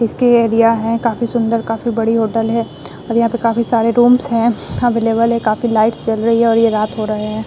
इसके एरिया है काफी सुन्दर काफी बड़ी होटल है और यहाँ पर काफी सारे रूम्स है अवेलेबल है काफी लाइट्स जल रही है और ये रात हो रहे है।